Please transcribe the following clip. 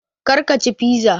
Karka ci fiza